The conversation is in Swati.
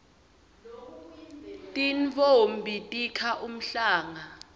tintfombi tikha umhlanga